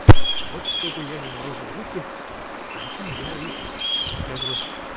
вот чтобы я не морозил руки поэтому я и как бы